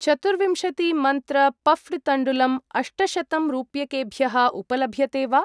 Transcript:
चतुर्विंशति मन्त्र पफ्ड् तण्डुलम् अष्टशतं रूप्यकेभ्यः उपलभ्यते वा?